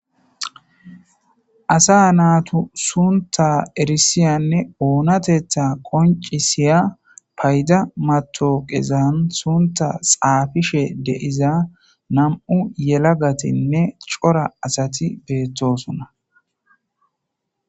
Asa naatu sunta erisiyanne oonatetha qoncisiya payda mato qezan sunta xaafishe deiza nam'u yelagatinne cora asati beettosuna.